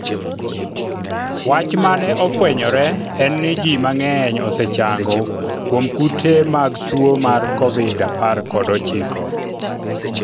wach mane ofwenyore en ni ji mang'eny osechango kuom kute mag tuo mar covid -apr kod ochiko